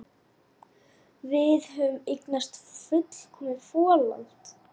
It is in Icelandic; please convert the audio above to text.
Gerðu grín að sjálfum þér.